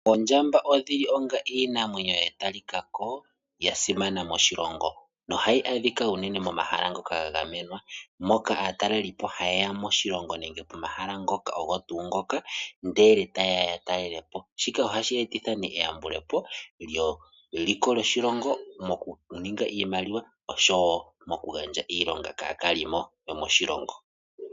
Ondjamba odhili dha talikako onga iinamwenyo ya simana moshilongo noha yi adhika unene moma hala ngoka ga gamenwa, moka aatalelipo haye ya moshilongo nenge pomahala ngoka ndele taye ya talele po. Shika ohashi eta nee e yambulepo dje liko djo shilongo moku ninga iimaliwa, osho wo oku gandja iilonga kaa kaliimo moshilongo.